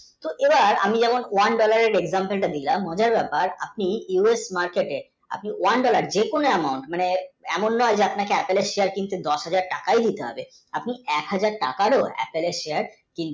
এবার আমি যখন one, dollar এর example তা দিলাম বোঝার ব্যাপার আপনি যদি market আপনি one, dollar যে কোনো amount মানে এমন নয় আপনাকে এক হাজার share কিনতে দশ হাজার টাকায় দিতে হবে এক হাজার টাকায় ও এক হাজার share